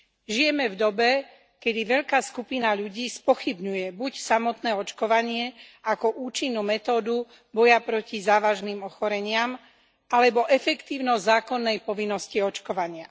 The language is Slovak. Žijeme v dobe, kedy veľká skupina ľudí spochybňuje buď samotné očkovanie ako účinnú metódu boja proti závažným ochoreniam alebo efektívnosť zákonnej povinnosti očkovania.